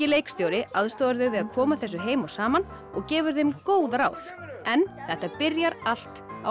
leikstjóri aðstoðar þau við að koma þessu heim og saman og gefur þeim góð ráð en þetta byrjar allt á